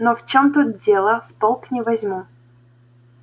но в чем тут дело в толк не возьму